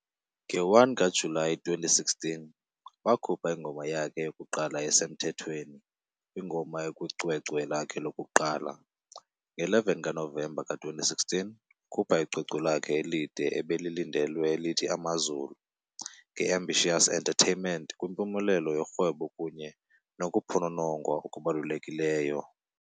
Nge-1 kaJulayi 2016, wakhupha ingoma yakhe yokuqala esemthethweni, ""- ingoma ekwicwecwe lakhe lokuqala, ". Nge-11 kaNovemba ka-2016, wakhupha icwecwe lakhe elide "ebelilindelwe elithi Amazulu" nge-Ambitious Entertainment kwimpumelelo yorhwebo kunye nokuphononongwa okubalulekileyo.